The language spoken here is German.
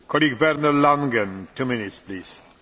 Herr Präsident, liebe Kolleginnen und Kollegen!